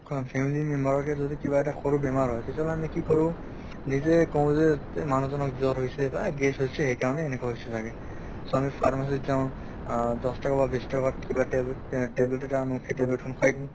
অহ family member ৰকে কিবা এটা সৰু বেমাৰ হয় তেতিয়াহʼলে আমি কি কৰোঁ নিজে কওঁ যে মানুহ জনক জ্বৰ হৈছে বা gas হৈছে সেই কাৰণে এনেকুৱা হৈছে চাগে। so আমি pharmacy ত যাওঁ, দশ টকা বা বিছ টকাত কিবা tablet তেহ tablet এটা আনো, সেই tablet খন খোৱাই দিওঁ।